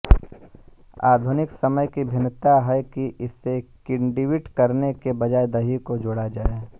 आधुनिक समय की भिन्नता है कि इसे किण्वित करने के बजाय दही को जोड़ा जाए